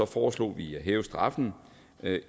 foreslog vi at hæve straffen